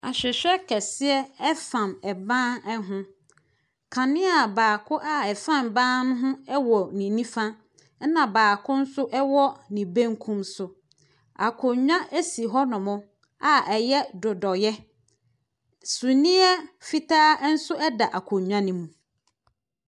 Ahwehwɛ kɛseɛ fam ban ho. Kanea baako a ɛfam ban no ho wɔ ne nifa ɛna baako nso wɔ ne benkum so. Akonnwa si hɔnom a ɛyɛ dodɔeɛ. summiiɛ fitaa nso da akonnwa no mu.